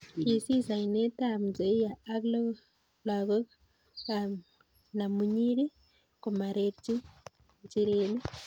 Kiisis oinetab Nzoia ak lagokab namunyiri komarerchi njirenik